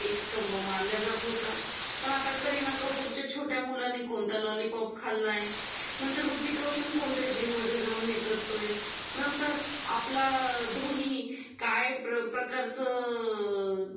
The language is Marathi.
एक स्तंभ मानला जात होता पण आता करीना कपूरच्या छोट्या मुलांनी कोणत्या लॉलीपॉप खाल्लाय नंतर हृतिक रोशन कोणत्या जिम मध्ये जाऊन हे करतोय नंतर आपला धोनी काय प्रकारचं